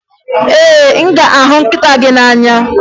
Ee, aga m ahụ nkịta m n'anya